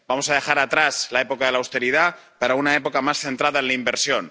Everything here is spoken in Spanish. Vamos a dejar atrás la época de la austeridad para pasar a una época más centrada en la inversión.